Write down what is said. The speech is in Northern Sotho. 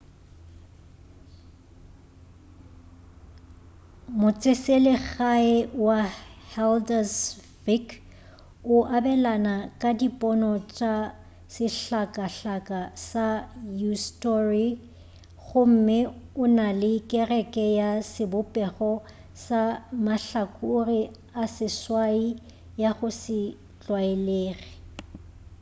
motseselegae wa haldarsvík o abelana ka dipono tša sehlakahlaka sa eysturoy gomme o na le kereke ya sebopego sa mahlakore a seswai ya go se tlwaelege